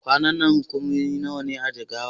Ƙananan hukumomi nawa ne a Jigawa?